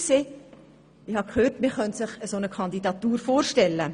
Ich hörte, man könne sich eine solche Kandidatur vorstellen.